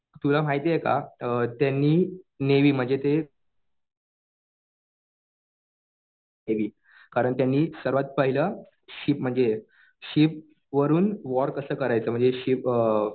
तुला माहितीये का त्यांनी नेव्ही म्हणजे ते केली . कारण त्यांनी सर्वात पहिलं शिप म्हणजे शिपवरून वॉर कसं करायचं म्हणजे शिप